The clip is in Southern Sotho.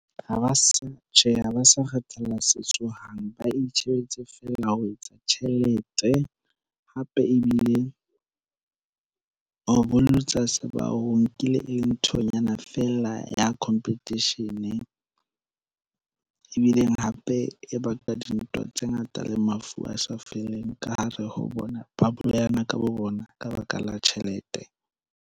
ba itjhebetse fela ho etsa tjhelete, hape ebile ho bolotsa se ba ho nkile e le nthonyana fela ya competition. Ebileng hape e baka dintwa tse ngata le mafu a sa feleng ka hare ho bona. Ba bolayana ka bo bona ka baka la tjhelete.